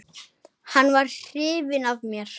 Hann var hrifinn af mér.